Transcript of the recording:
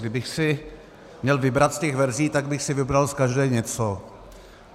Kdybych si měl vybrat z těch verzí, tak bych si vybral z každé něco.